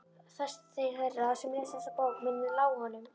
Fæstir þeirra sem lesa þessa bók munu lá honum það.